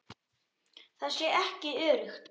Það sé þó ekki öruggt.